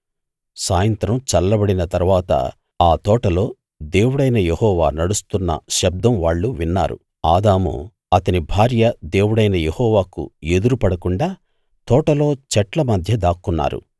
సాయంత్రం చల్లబడిన తరువాత ఆ తోటలో దేవుడైన యెహోవా నడుస్తున్న శబ్ధం వాళ్ళు విన్నారు ఆదాము అతని భార్య దేవుడైన యెహోవాకు ఎదురు పడకుండా తోటలో చెట్ల మధ్య దాక్కున్నారు